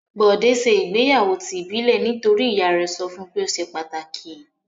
Bọ̀dé ṣe ìgbéyàwó ti ìbílẹ̀ nítorí ìyá rẹ̀ sọ fún pé ó ṣe pàtàkì.